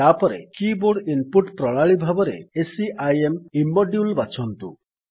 ତାପରେ keyboard input ପ୍ରଣାଳୀ ଭାବରେ SCIM ଇମ୍ମୋଡ୍ୟୁଲ୍ ବାଛନ୍ତୁ